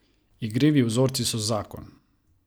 Igrivi vzorci so zakon!